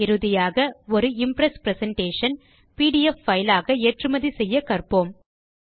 இறுதியாக ஒரு impress presentation PDF file ஆக ஏற்றுமதி செய்ய கற்போம்